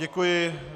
Děkuji.